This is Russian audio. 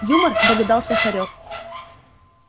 юмор догадался хорёк